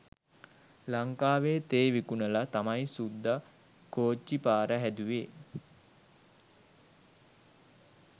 ලංකාවේ තේ විකුණලා තමයි සුද්දා කොච්චි පාර හැදුවේ